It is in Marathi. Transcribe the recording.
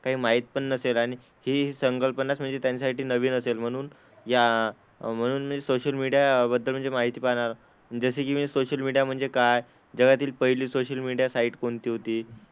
काही माहित पण नसेल आणि हि संकल्पनाच म्हणजे त्यांच्यासाठी नवीन असेल म्हणून या म्हणून मी सोशल मीडियाबद्दल म्हणजे माहिती पाहणार. जसं की मी सोशल मीडिया म्हणजे काय? जगातील सोशल मीडिया साइट कोणती होती?